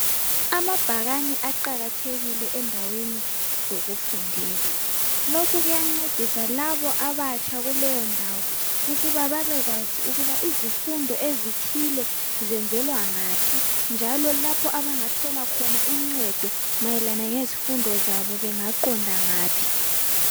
amabhakane aqhakathekile endaweni zokufundela lokho kuyancedisa laba abatsha kuleyondawo ukuba babekwazi ukuba izifundo ezithile zitholakala ngaphi njalo lapho abazatholakhona uncedo mayelana ngezifundo zabo bengaqhonda ngaphi